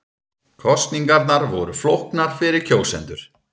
Kosningarnar voru flóknar fyrir kjósendur